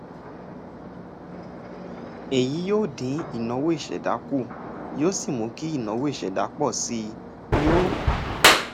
èyí yóò dín ìnáwó ìṣẹ̀dá kù yóò sì mú kí ìnáwó ìṣẹ̀dá pọ̀ sí i yóò